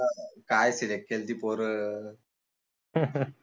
काय select केली ती पोर